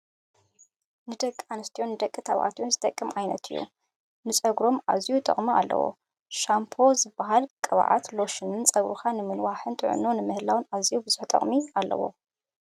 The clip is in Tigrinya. ንደቂ ኣንስትዮን ደቂ ተባዕትዮን ዝጠቅሞን ዓይነት እዩ። ንፀጉሮም ኣዝዩ ጥቅሚ ኣለዎ። ሻንፖዝብሃል ቅብኣት ሎሽንን ፀጉርካ ንምንዋሕን ጥዕንኡ ንምሕላውን ኣዝዩ ብዙሕ ቅጥሒ ኣለዎ።